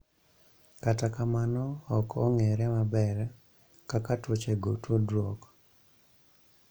Kata kamano, ok ong�ere maber kaka tuochego tudruok.